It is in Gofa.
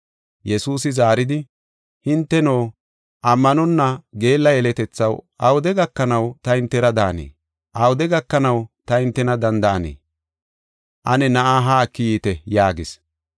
Yesuusi zaaridi, “Hinteno, ammanonna geella yeletethaw awude gakanaw ta hintera daanee? Awude gakanaw ta hintena danda7anee? Ane na7aa haa eki yiite” yaagis.